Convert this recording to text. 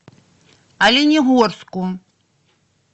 оленегорску